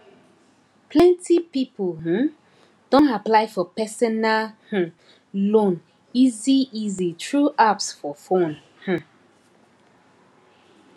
plenty people um don apply for personal um loan easyeasy through apps for fone um